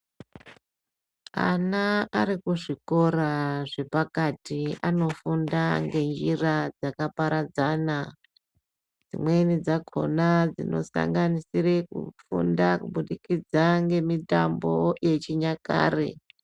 Ana ari kuzvikora zvepakati anofunda ngenjira dzakaparadzana. Dzimweni dzakhona dzinosanganisire kufunda kubudikidza ngemitambo yechinyakare.